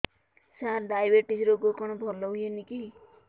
ସାର diabetes ରୋଗ କଣ ଭଲ ହୁଏନି କି